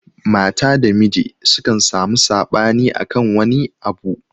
Mata da Miji sukan samu saɓani akan wani abu.